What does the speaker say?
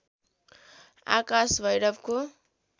आकाश भैरवको